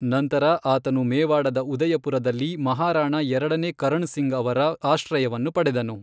ನಂತರ ಆತನು ಮೇವಾಡದ ಉದಯಪುರದಲ್ಲಿ ಮಹಾರಾಣಾ ಎರಡನೇ ಕರಣ್ ಸಿಂಗ್ ಅವರ ಆಶ್ರಯವನ್ನು ಪಡೆದನು.